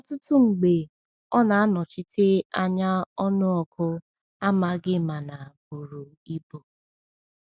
Ọtụtụ mgbe ọ na-anọchite anya ọnụọgụ amaghị mana buru ibu.